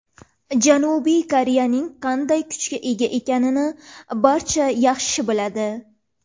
Janubiy Koreyaning qanday kuchga ega ekanini barcha yaxshi biladi.